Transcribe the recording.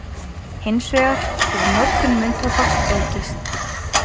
Hins vegar hefur notkun munntóbaks aukist.